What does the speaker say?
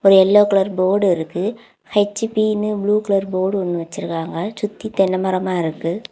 ஒரு yellow colour board இருக்கு. HP னு ப்ளூ கலர் போர்டு ஒன்னு வச்சிருக்காங்க. சுத்தி தென்ன மரமா இருக்கு.